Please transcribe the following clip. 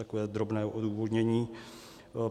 Takové drobné odůvodnění.